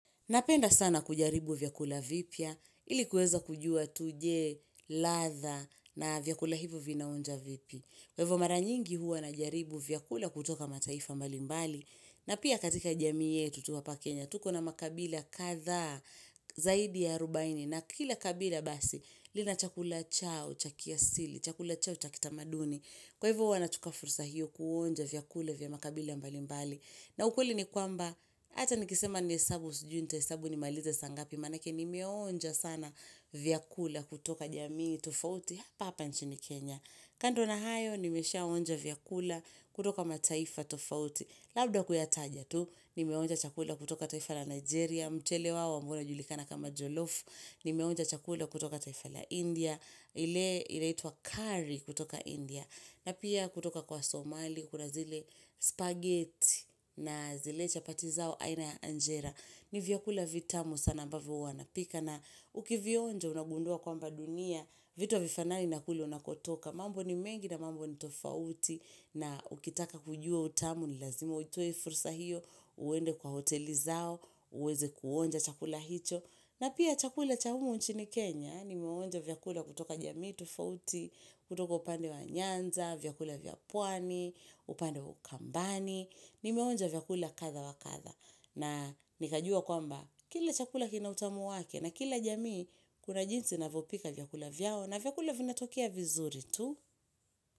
Napenda sana kujaribu vyakula vipya, ili kuweza kujua tuje, ladha na vyakula hivi vinaonja vipi. Kwa hivo maranyingi huwa najaribu vyakula kutoka mataifa mbali mbali, na pia katika jami yetu tu hapa kenya, tuko na makabila kadhaa zaidi ya arubaini, na kila kabila basi, lina chakula chao, cha kiasili, chakula chao, cha kitamaduni. Kwa hivi hua nachukua fursa hiyo kuonja vyakula vya makabila mbalimbali. Na ukweli ni kwamba, ata nikisema nihesabu, sijui nitahesabu ni malize saangapi, maanake nimeonja sana vyakula kutoka jamii tofauti, hapa hapa nchi ni Kenya. Kando na hayo, nimeshaonja vyakula kutoka mataifa tofauti, labda kuyataja tu, ni meonja chakula kutoka taifa la Nigeria, mchele wao ambao unajulikana kama Jolof, nimeonja chakula kutoka taifa la India, ile inaitwa curry kutoka India, na pia kutoka kwa Somali, kuna zile spaghetti na zile chapati zao aina Angera. Ni vyakula vitamu sana ambavyo hua napika na ukivionja unagundua kwamba dunia. Vito havifanani na kule unakotoka. Mambo ni mengi na mambo ni tofauti na ukitaka kujua utamu ni lazima utoe fursa hiyo. Uende kwa hoteli zao, uweze kuonja chakula hicho. Na pia chakula cha humu nchini Kenya, nimeonja vyakula kutoka jamii tufauti, kutoka upande wa nyanza, vyakula vya pwani, upande wa ukambani, nimeonja vyakula kadha wa kadha. Na nikajua kwamba, kila chakula kina utamu wake na kila jamii kuna jinsi inavyopika vyakula vyao na vyakula vinatokea vizuri tu.